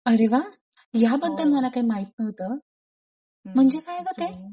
अरे वा! याबद्दल मला काही माहित नव्हतं. म्हणजे काय गं ते?